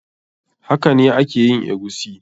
Hakane a ke yin eguisi.